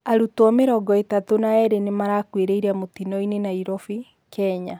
arutwo mĩrongo ĩtatũ na eerĩ nĩmarakuĩrĩire mutino-inĩ Nairobi, Kenya